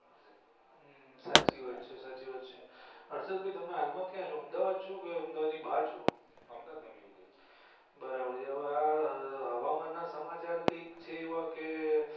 સાચી વાત છે સાચી વાત છે હર્ષદભાઈ તમે હાલ મા કયા છો અમદાવાદ છો કે અમદાવાદ ની બાર છો અમદાવાદ માં મેહુલ ભાઈ બરાબર છે હવે આ હવામાન ના સમાચાર કંઈક છે એવા કે.